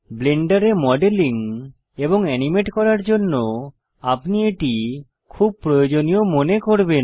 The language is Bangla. ব্লেন্ডারে মডেলিং এবং এনিমেট করার জন্য আপনি এটি খুব প্রয়োজনীয় মনে করবেন